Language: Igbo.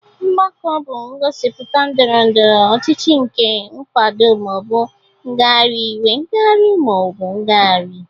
Mgbakọ bụ ngosipụta ndọrọ ndọrọ ọchịchị nke nkwado ma ọ bụ ngagharị iwe, ngagharị ma ọ bụ ngagharị.